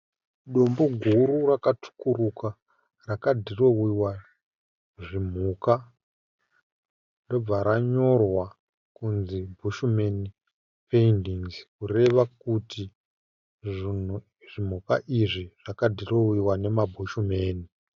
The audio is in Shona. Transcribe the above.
Dombo guru rakatsvukuruka rakadhirowewa zvimhuka ndobva ranyorwa kunzi bushmen paintinggs kureva kuti zvimhuka izvi zvakadhirowewa neamabushmen.